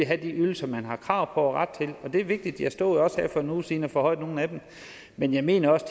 have de ydelser man har krav og ret til og det er vigtigt jeg stod jo også her for en uge siden og forhøjede nogle af dem men jeg mener også